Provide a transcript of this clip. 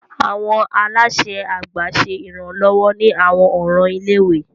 Awọn alaṣẹ àgbà ṣe iranlọwọ ni awọn ọran ilé-ìwé.